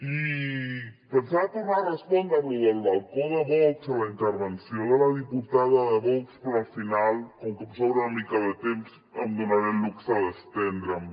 i pensava tornar a respondre a lo del balcó de vox a la intervenció de la diputada de vox però al final com que em sobra una mica de temps em donaré el luxe d’estendre’m